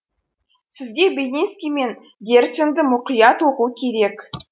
сізге белинский мен герценді мұқият оқу керек